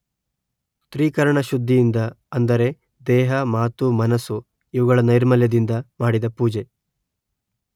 ತ್ರಿಕರಣಶುದ್ಧಿಯಿಂದ ಅಂದರೆ ದೇಹ, ಮಾತು ಮನಸ್ಸು ಇವುಗಳ ನೈರ್ಮಲ್ಯದಿಂದ ಮಾಡಿದ ಪೂಜೆ